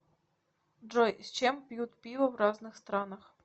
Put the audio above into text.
джой с чем пьют пиво в разных странах